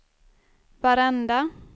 varenda